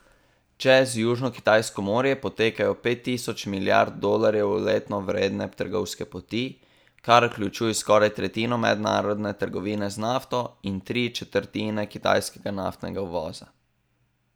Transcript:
Čez Južnokitajsko morje potekajo pet tisoč milijard dolarjev letno vredne trgovske poti, kar vključuje skoraj tretjino mednarodne trgovine z nafto in tri četrtine kitajskega naftnega uvoza.